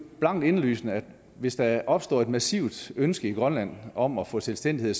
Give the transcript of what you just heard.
klart indlysende at hvis der opstår et massivt ønske i grønland om at få selvstændighed